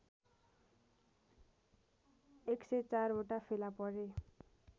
१०४ वटा फेला परे